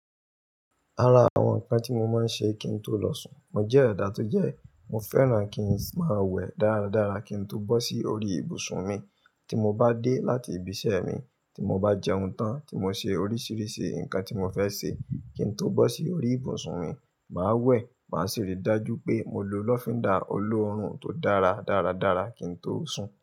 Ara àwọn nǹkan tí mo máa ń ṣe kí n tó lọ sùn, mo jẹ́ ẹ̀dá tó jẹ́, mo fẹ́ràn kí n máa wẹ̀ dáradára kí n tó bọ́ sí orí ìbùsùn mi. Tí mo bá dé láti ibi iṣẹ́ mi, tí mo bá jẹun tán, tí mo ṣe oríṣiríṣi nǹkan tí mo fẹ́ ṣe, kí n tó bọ́ sí orí ìbùsùn mi, màá wẹ̀, màá sì rí i dájú pé mo lo lọ́fíndà olóòórùn tó dára dáradára kí n tó sùn.